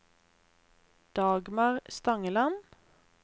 Dagmar Stangeland